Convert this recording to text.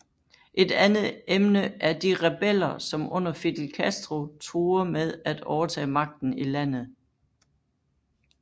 Et andet emne er de rebeller som under Fidel Castro truer med at overtage magten i landet